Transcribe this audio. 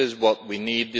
This is what we need.